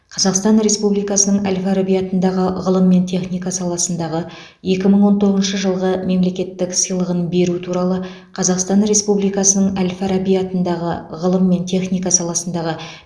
қазақстан республикасының әл фараби атындағы ғылым мен техника саласындағы екі мың он тоғызыншы жылғы мемлекеттік сыйлығын беру туралы қазақстан республикасының әл фараби атындағы ғылым мен техника саласындағы